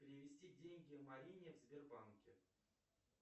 перевести деньги марине в сбербанке